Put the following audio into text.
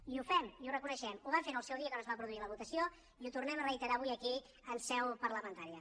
i ho fem i ho reconeixem ho vam fer en el seu dia quan es va produir la votació i ho tornem a reiterar avui aquí en seu parlamentària